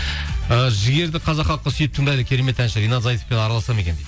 ы жігерді қазақ халқы сүйіп тыңдайды керемет әнші ринат зайтовпен араласады ма екен дейді